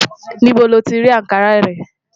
Níbó ni o ti rà Ànkarà rẹ̀?